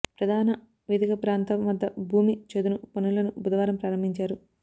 ప్రధాన వేదిక ప్రాంతం వద్ద భూమి చదును పనులను బుధవారం ప్రారంభించారు